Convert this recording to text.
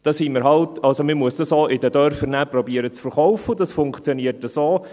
Man muss dann auch versuchen, das in den Dörfern zu verkaufen, und das funktioniert so: